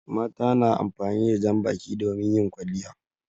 Mata na amfani da jan baki domin yin kwalliya.